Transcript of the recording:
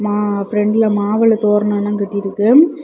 ஆ ப்ரொன்ட்ல மாவில தோரணம் எல்லாம் கட்டிருக்கு.